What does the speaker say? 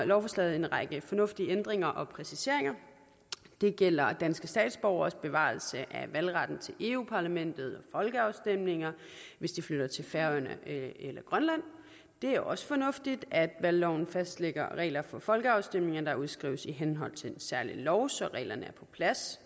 lovforslaget en række fornuftige ændringer og præciseringer det gælder danske statsborgeres bevarelse af valgretten til eu parlamentet folkeafstemninger hvis de flytter til færøerne eller grønland det er også fornuftigt at valgloven fastlægger regler for folkeafstemninger der udskrives i henhold til en særlig lov så reglerne er på plads